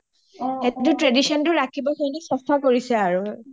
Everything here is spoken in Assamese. tradition টো ৰাখিবৰ কাৰণে চাফা কৰিছে আৰু